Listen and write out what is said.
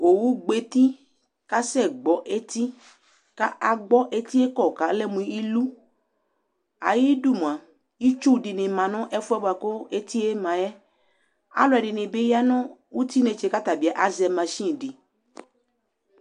Owu gbɔ eti kasɛgbɔ eti kaagbɔ etie kɔkalɛ mʊ ilu ayidu mua itsu dini ma nu ɛfuɛ buaku etie ma yɛ alu ɛdini ɣa nu uti ayinetsre ka ata bi azɛ machini di